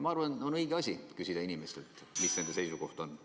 Ma arvan, et on õige küsida inimestelt, mis nende seisukoht on.